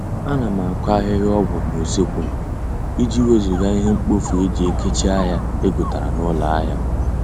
A na m akụ ahịhịa ọgwụ n'useekwu m, iji wezụga ihe mkpofu eji ekechi ahịa egotere n'ụlọ ahịa